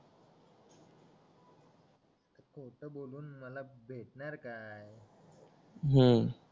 खोटं बोलून मला भेटणार काय हू